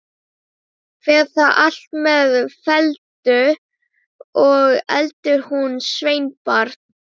Fer það allt með felldu, og elur hún sveinbarn.